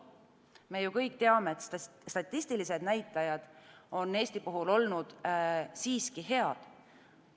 Me kõik teame, et statistilised näitajad on Eesti puhul olnud siiski head.